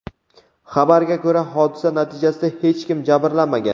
Xabarga ko‘ra, hodisa natijasida hech kim jabrlanmagan.